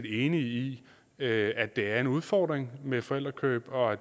enige i at det er en udfordring med forældrekøb og at